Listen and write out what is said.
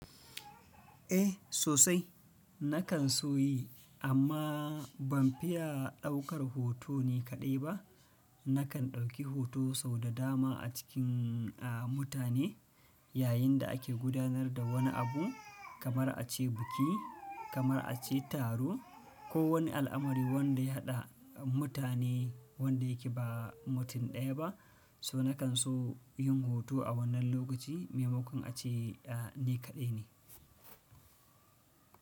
Eh sosai nakan so yi amma ban fiya ɗaukar hoto nikaɗai ba. Nakan ɗauki hoto sau da dama a cikin a mutane yayin da ake gudanar da wani abu kamar a ce biki, kamar a ce taro ko wani al'amari wanda ya haɗa mutane wanda yake ba mutum ɗaya ba. So nakan so yin hoto a wannan lokaci maimakon a ce ni kaɗai ne.